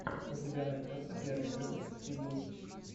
у тебя найдется первый выпуск кеду